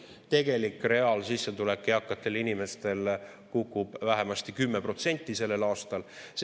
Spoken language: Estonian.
Tegelik reaalsissetulek eakatel inimestel kukub vähemasti 10% sellel aastal.